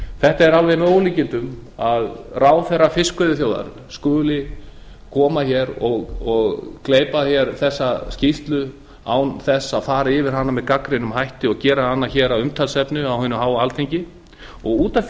þetta er alveg með ólíkindum að ráðherra fiskveiðiþjóðar skuli gleypa þessa skýrslu án þess að fara gagnrýnið yfir hana að hún skuli gera hana á hinu alþingi að umtalsefni út af